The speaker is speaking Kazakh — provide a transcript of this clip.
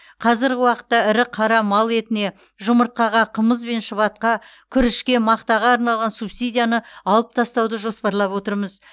қазырғы уақытта ірі қара мал етіне жұмыртқаға қымыз бен шұбатқа күрішке мақтаға арналған субсидияны алып тастауды жоспарлап отырмыз